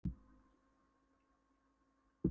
Dagskrá aðalfundar er ófrávíkjanleg um nokkur atriði.